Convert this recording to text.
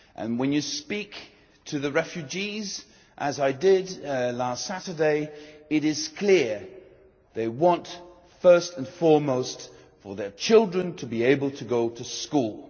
When you speak to the refugees, as I did last Saturday, it is clear what they want first and foremost is for their children to be able to go to school.